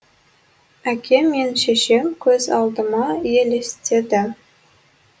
әкем мен шешем көз алдыма елестеді